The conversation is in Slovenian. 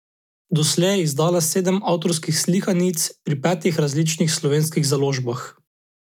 Doslej je izdala sedem avtorskih slikanic pri petih različnih slovenskih založbah.